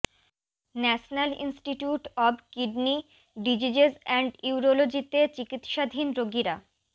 national institute of kidney diseases and ইউরোলজিতে চিকিৎসাধীন রোগীরা